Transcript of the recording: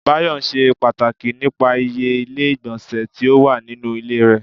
Bayọ ṣe pàtàkì nípa ìyè ilé igbonse tí ó wà nínú ilé rẹ